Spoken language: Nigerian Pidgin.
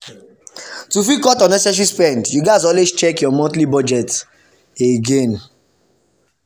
to fit cut unnecessary spend you gats always check your monthly budget again.